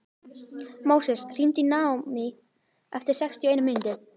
Móses, hringdu í Naómí eftir sextíu og eina mínútur.